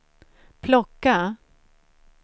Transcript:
plocka